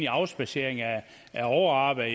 at afspadsering af overarbejde